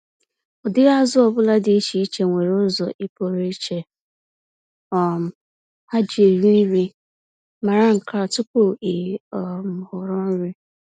Ụdịrị azụ ọbula dị iche iche nwere ụzọ i pụrụ iche um ha ji eri nri- mara nkea tupu ị um họrọ nri.